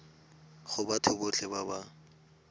go batho botlhe ba ba